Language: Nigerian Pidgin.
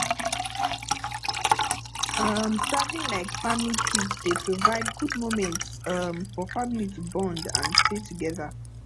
um traveling like family trips dey provide good moments um for family to bond and stay together